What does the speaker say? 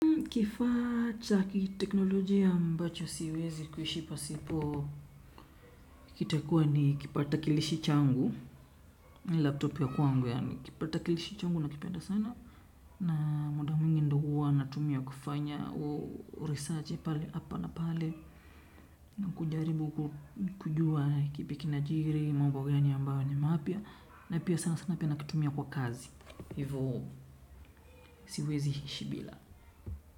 Kifaa cha kiteknolojia ambacho siwezi kuishi pasipo. Kitakuwa ni kipata kilishi changu. Laptop ya kwangu yaani kipata kilishi changu nakipenda sana. Na muda mwingi ndo huwa natumia kufanya uresache pale hapa na pale. Na kujaribu kujua kipi kinajiri, mambo gani ambayo ni mapya. Na pia sana sana pia nakitumia kwa kazi. Hivo, siwezi ishi bila.